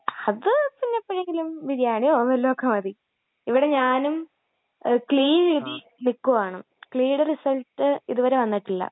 അത് പിന്നെപ്പഴെങ്കിലും ബിരിയാണിയോ വല്ലോമൊക്കെ മതി. ഇവിടെ ഞാനും ക്‌ളീ എഴുതി നിൽക്കുവാണ്, ക്‌ളീയുടെ റിസൾട്ട് ഇതുവരെ വന്നിട്ടില്ല.